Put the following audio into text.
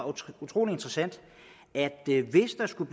utrolig interessant at hvis der skulle